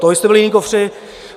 To vy jste byli jiní kofři.